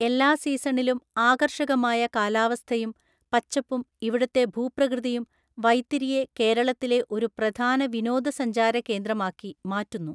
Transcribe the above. എല്ലാ സീസണിലും ആകർഷകമായ കാലാവസ്ഥയും പച്ചപ്പും ഇവിടുത്തെ ഭൂപ്രകൃതിയും വൈത്തിരിയെ കേരളത്തിലെ ഒരു പ്രധാന വിനോദസഞ്ചാര കേന്ദ്രമാക്കി മാറ്റുന്നു.